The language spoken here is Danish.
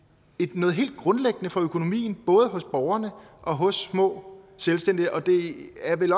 noget helt grundlæggende for økonomien både hos borgerne og hos små selvstændige det er vel